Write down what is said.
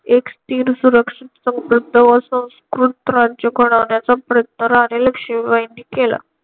एक स्थिर सुरक्षित समृद्ध व संस्कृत राज्य घडवण्याचा प्रयत्न राणी लक्ष्मीबाईंनी केला.